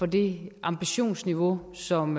det ambitionsniveau som